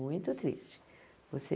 Muito triste. Você